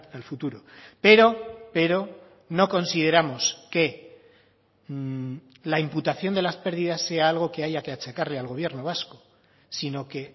al futuro pero pero no consideramos que la imputación de las pérdidas sea algo que haya que achacarle al gobierno vasco sino que